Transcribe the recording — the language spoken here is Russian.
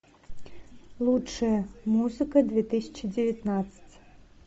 лучшая музыка две тысячи девятнадцать